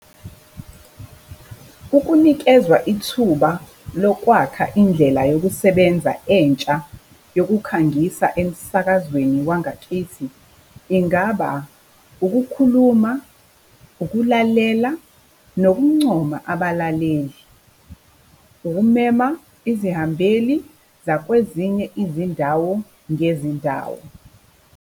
Ukunikezwa ithuba lokwakha indlela yokusebenza entsha yokukhangisa emsakazweni wangakithi ingaba ukukhuluma, ukulalela, nokuncoma abalaleli, ukumema izihambeli zakwezinye izindawo ngezindawo.